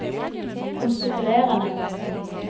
konstituerende